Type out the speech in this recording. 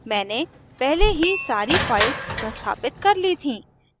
मैंने पहले ही सारी files संस्थापित कर ली थी